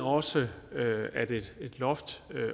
også at at et loft